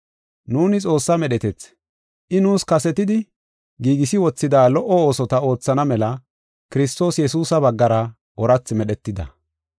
Nuuni Xoossaa medhetethi; I nuus kasetidi giigisi wothida lo77o oosota oothana mela Kiristoos Yesuusa baggara oorathi medhetida.